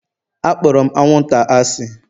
Akpọrọ m anwụnta asị